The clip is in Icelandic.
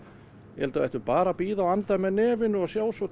ég held við ættum bara að bíða og anda með nefinu og sjá svo